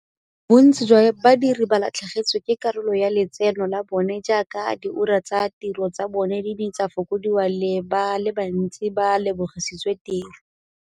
Bontsi jwa badiri ba latlhegetswe ke karolo ya letseno la bona jaaka diura tsa tiro tsa bona di ne tsa fokodiwa le ba le bantsi ba lebogisitswe tiro.